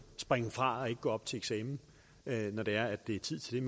springe fra og ikke gå op til eksamen når det er er tid til